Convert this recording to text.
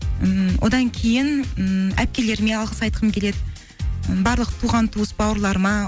ммм одан кейін м әпкелеріме алғыс айтқым келеді і барлық туған туыс бауырларыма